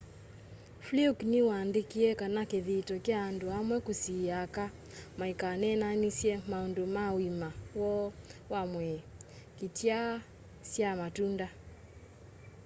fluke ni waandikie kana kithito kya andu amwe kusiiia aka maikaneenanisye maundu ma uima woo wa mwii kityaa syaa matunda